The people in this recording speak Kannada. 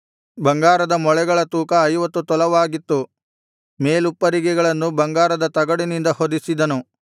ಬಂಗಾರದ ಮೊಳೆಗಳ ತೂಕ ಐವತ್ತು ತೊಲವಾಗಿತ್ತು ಮೇಲುಪ್ಪರಿಗೆಗಳನ್ನು ಬಂಗಾರದ ತಗಡಿನಿಂದ ಹೊದಿಸಿದನು